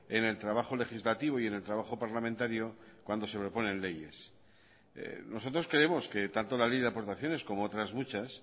en el trabajo legislativo y en el trabajo parlamentario cuando se proponen leyes nosotros creemos quetanto la ley de aportaciones como otras muchas